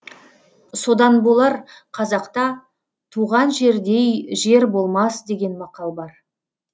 содан болар қазақта туған жердей жер болмас деген мақал бар